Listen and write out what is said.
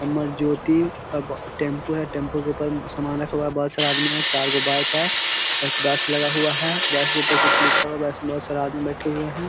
अमरज्योति अब टेम्पू है। टेम्पू के ऊपर सामान रखा हुआ है बहोत सारा आदमी है चार गो बाइक है। एक बस लगा हुआ है। बस के ऊपर कुछ लिखा हुआ है। बस बस में बहोत सारा आदमी बैठे हुए हैं।